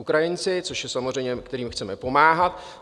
Ukrajinci, což je samozřejmé, kterým chceme pomáhat.